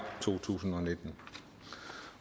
to tusind